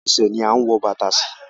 Ẹsẹ̀ ni à ń wo bàtà sí